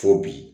Fo bi